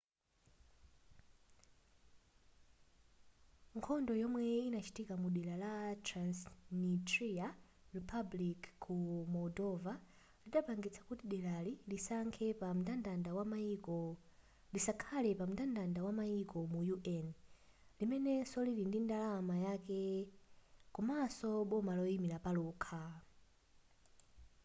nkhondo yomwe inachitika mu dera la transnitria republic ku moldova lidapangitsa kuti delali lisakhale pa mndandanda wa mayiko mu un limenenso lili ndi ndalama yake komanso boma loyima palokha